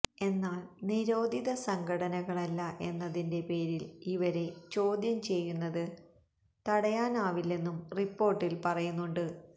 എന്നാല് നിരോധിത സംഘടനകളല്ല എന്നതിന്റെ പേരില് ഇവരെ ചോദ്യം ചെയ്യുന്നത് തടയാനാവില്ലെന്നും റിപ്പോര്ട്ടില് പറയുന്നുണ്ട്